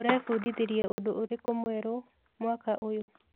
ũrebundithirie ũndũ ũrĩkũ mwerũ mwaka ũyũ?